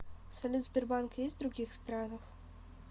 салют сбербанк есть в других странах